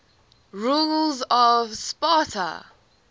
rulers of sparta